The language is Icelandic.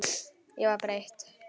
Ég var breytt.